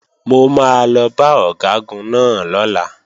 Mo máa lọ bá Ọ̀gágun náà lọ́la